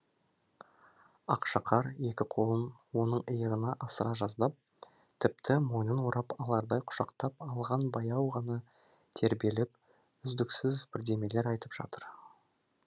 ақшақар екі қолын оның иығынан асыра жаздап тіпті мойнын орап алардай құшақтап алған баяу ғана тербеліп үздіксіз бірдемелер айтып жатыр